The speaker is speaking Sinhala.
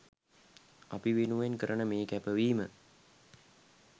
අපි වෙනුවෙන් කරන මේ කැපවීම